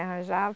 Arranjava.